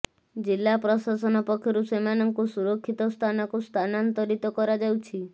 ଜିଲ୍ଲା ପ୍ରଶାସନ ପକ୍ଷରୁ ସେମାନଙ୍କୁ ସୁରକ୍ଷିତ ସ୍ଥାନକୁ ସ୍ଥାନାନ୍ତରିତ କରାଯାଉଛି